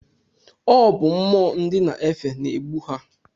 Ọ bụ mmụọ ndị na-efe na-egbu ha.